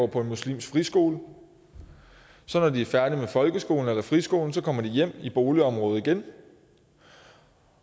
på en muslimsk friskole når de så er færdige med folkeskolen eller friskolen kommer de hjem i boligområdet igen